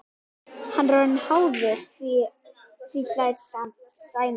Hann er orðinn háður því, hlær Sæmi.